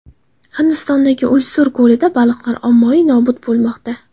Hindistondagi Ulsur ko‘lida baliqlar ommaviy nobud bo‘lmoqda .